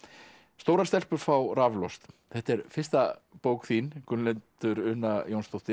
stórar stelpur fá raflost þetta er fyrsta bók þín Gunnhildur Una Jónsdóttir